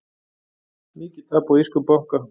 Mikið tap á írskum banka